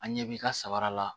An ɲɛ b'i ka sabara la